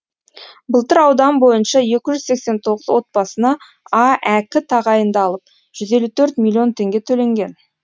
былтыр аудан бойынша екі жүз сексен тоғыз отбасына аәк тағайындалып жүз елу төрт миллион теңге төленген